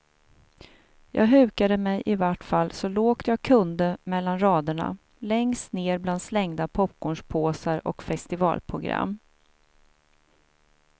Jag hukade mig ivart fall så lågt jag kunde mellan raderna, längst ner bland slängda popcornspåsar och festivalprogram.